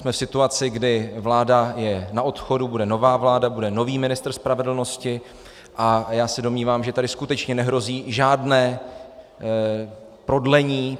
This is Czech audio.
Jsme v situaci, kdy vláda je na odchodu, bude nová vláda, bude nový ministr spravedlnosti, a já se domnívám, že tady skutečně nehrozí žádné prodlení.